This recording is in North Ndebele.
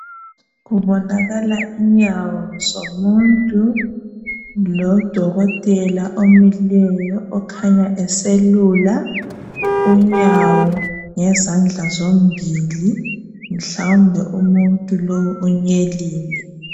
Kubonakala inyawo zomuntu lodokotela omileyo okanyabeselula inyawo ngezandla zombili mhlawumbe umunt lo unyelile